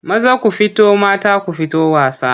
Maza ku fito mata ku fito wasa.